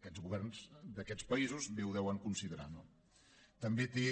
aquests governs d’aquests països bé ho deuen considerar no també té